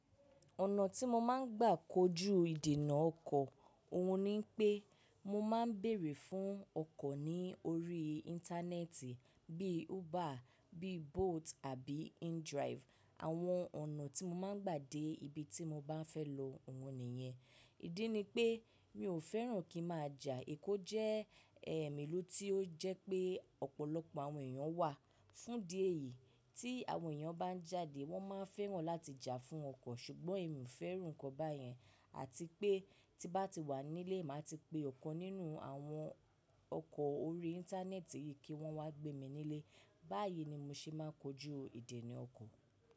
Ọ̀nà tí mo máa ń gbà kojú ìdènà ọkọ̀, òhun ni pé mo máa ń bèèrè fún ọkọ̀ ní orí íńtánẹ́ẹ̀tì bí i Uber, bí Bolt àbí InDrive. Àwọn ọ̀nà tí mo máa ń gbà dé ibi tí mo bá fẹ́ lọ, òhun nìyẹn. Ìdí ni pé mi ò fẹ́ràn kí má ja. Èkó jẹ́ èm ìlú tí ó jẹ́ pé ọ̀pọ̀lọpọ̀ àwọn èèyàn wà. Fún di èyí, tí àwọn èèyàn bá ń jáde wọ́n máa ń fẹ́ràn láti jà fún ọkọ̀. Ṣùgbọ́n èmi ò fẹ́ràn nǹkan báyẹn àti pé tí bá ti wà nílé, màá ti pe ọkọ̀ nínú àwọn ọkọ̀ orí íńtánẹ́ẹ̀tì yìí kí wọ́n wá gbé mi nílé. Báyìí ni mo ṣe máa ń kojú ìdènà ọkọ̀.